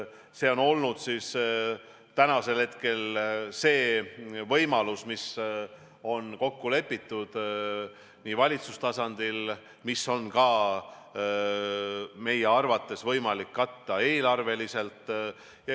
See on olnud see võimalus, mis on kokku lepitud valitsustasandil, mida on meie arvates võimalik katta ka eelarveliselt.